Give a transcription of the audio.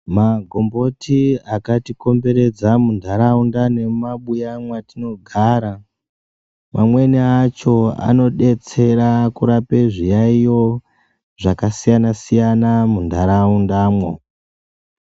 Magomboti akati komberedza mu ndaraunda nemu mabuya mwatino gara amweni acho ano detsera kurape zviyayo zvaka siyana siyana mu ndaraundamwo.